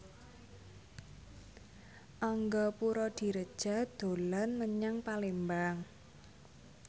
Angga Puradiredja dolan menyang Palembang